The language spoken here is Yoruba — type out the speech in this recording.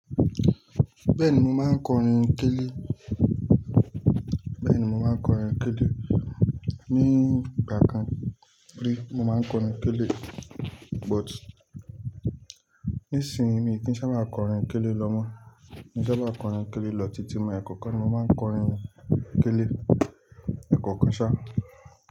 Bẹ́ẹ̀ni mò máa n korin kélé, bẹ́ẹ̀ni mò máa n korin kélé. Ni ìgbà kan rí mò máa n korin télé but nisinyi mi kì í sá bá korin kélé lọmọ, mi o sá bá korin kélé lọ títí mo ekọ kán mò ma korin kélé ekọ kán ṣá.